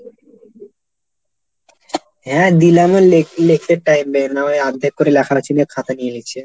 হ্যাঁ দিলাম লেখ লেখতে time দেয় নাই ওই আর্ধেক করে লেখাটা চিনে খাতা নিয়ে নিচ্ছে।